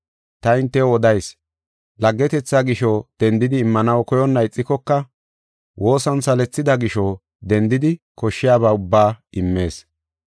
Ta hintew odayis; laggetetha gisho dendidi immanaw koyonna ixikoka woosan salethida gisho, dendidi koshshiyaba ubba immees.